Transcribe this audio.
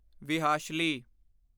ਵਿਹਾਸ਼ਲੀ